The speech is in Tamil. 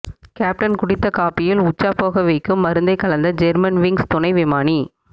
கேப்டன் குடித்த காபியில் உச்சா போக வைக்கும் மருந்தை கலந்த ஜெர்மன்விங்ஸ் துணை விமானி